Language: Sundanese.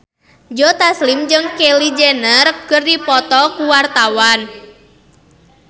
Joe Taslim jeung Kylie Jenner keur dipoto ku wartawan